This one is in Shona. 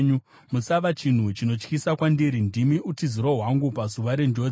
Musava chinhu chinotyisa kwandiri; ndimi utiziro hwangu pazuva renjodzi.